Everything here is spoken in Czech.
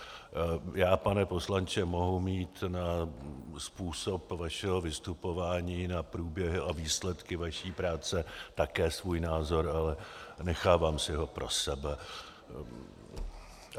Já, pane poslanče, mohu mít na způsob vašeho vystupování, na průběhy a výsledky vaší práce také svůj názor, ale nechávám si ho pro sebe.